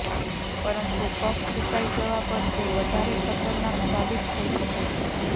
પરંતુ કફ સૂકાઇ જવા પર તે વધારે ખતરનાક સાબિત થઇ શકે છે